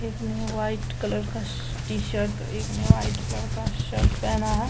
एक ने white colour का टी-शर्ट और एक ने व्हाइट कलर का शर्ट पहना है।